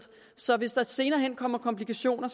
så man hvis der senere hen kommer komplikationer